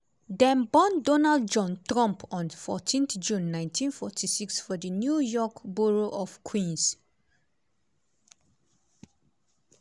dem born donald john trump on 14 june 1946 for di new york borough of queens.